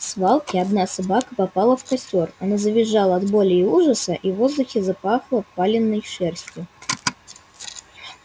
в свалке одна собака попала в костёр она завизжала от боли и ужаса и в воздухе запахло палёной шерстью